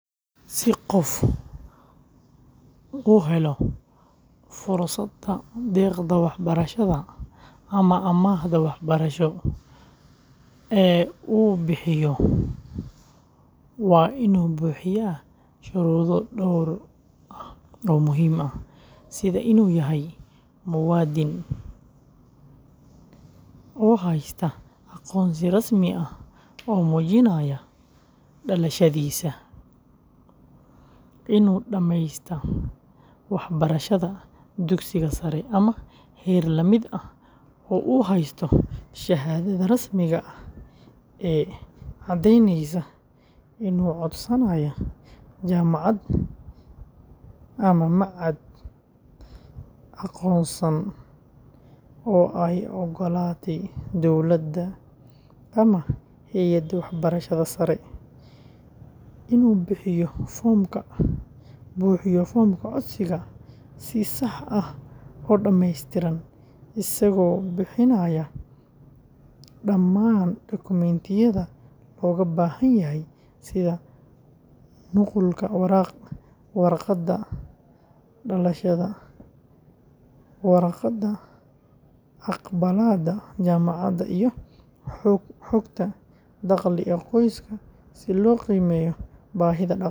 Si qof u helo fursadda deeqda waxbarasho ama amaahda waxbarasho ee uu bixiyo waa inuu buuxiyaa shuruudo dhowr ah oo muhiim ah, sida inuu yahay muwaadin oo haysta aqoonsi rasmi ah oo muujinaya dhalashadiisa, inuu dhameystay waxbarashada dugsiga sare ama heer la mid ah oo uu haysto shahaadada rasmiga ah ee caddeyneysa, inuu codsanayo jaamacad ama machad aqoonsan oo ay oggolaatay dowladda ama hay’adda waxbarashada sare, inuu buuxiyo foomka codsiga si sax ah oo dhammeystiran isagoo bixinaya dhammaan dukumentiyada looga baahan yahay sida nuqulka warqadda dhalashada, warqadda aqbalaadda jaamacadda, iyo xogta dakhli ee qoyska si loo qiimeeyo baahida dhaqaale.